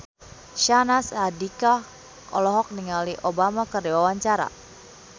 Syahnaz Sadiqah olohok ningali Obama keur diwawancara